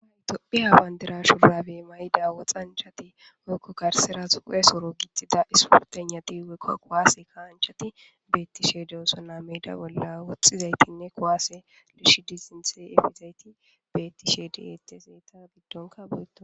Tophiya bandira shurabe mayida woxanchati woyko garsera do'iya sure gixida sporteyinayti woyko kuwase ka'anachati betishe dosona, meda bolla woxizaytinne kuwase yuushidi sinthe efishe dizayti betishe de'etes , eta gidonka betona....